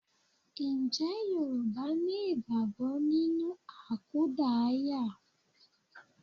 Ǹjẹ́ Yorùbá ni ìgbàgbọ́ nínú àkúdaaya?